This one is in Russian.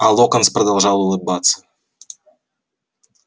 а локонс продолжал улыбаться